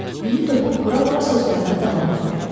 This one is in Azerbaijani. Dili topuq vura-vura sözlərinə davam etdi: